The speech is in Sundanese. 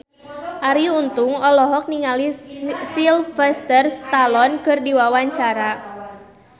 Arie Untung olohok ningali Sylvester Stallone keur diwawancara